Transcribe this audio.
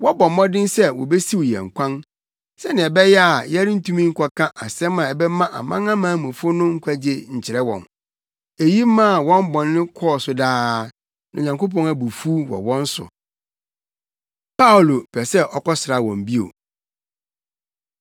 Wɔbɔ mmɔden sɛ wobesiw yɛn kwan, sɛnea ɛbɛyɛ a yɛrentumi nkɔka asɛm a ɛbɛma amanamanmufo no nkwagye nkyerɛ wɔn. Eyi maa wɔn bɔne kɔɔ so daa. Na Onyankopɔn abufuw wɔ wɔn so. Paulo Pɛ Sɛ Ɔkɔsra Wɔn Bio